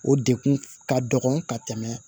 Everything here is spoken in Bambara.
O dekun ka dɔgɔ ka tɛmɛ